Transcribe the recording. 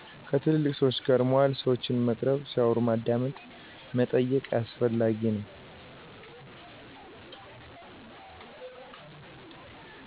ከትልልቅ ሰወች ጋር መዋል ሰወችን መቅረብ ሲያወሩ ማዳመጥ መጠየቅ አስፈላጊ ነዉ።